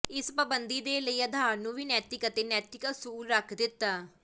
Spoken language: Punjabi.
ਇਸ ਪਾਬੰਦੀ ਦੇ ਲਈ ਆਧਾਰ ਨੂੰ ਵੀ ਨੈਤਿਕ ਅਤੇ ਨੈਤਿਕ ਅਸੂਲ ਰੱਖ ਦਿੱਤਾ